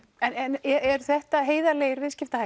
en eru þetta heiðarlegir